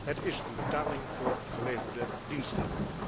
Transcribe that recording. Het is een betaling voor geleverde diensten.